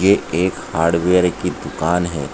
एक हार्डवेयर की दुकान है।